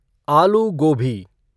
आलू गोबी